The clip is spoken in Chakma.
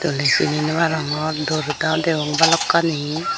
doley sini naw parapang dor daw degong balokkani.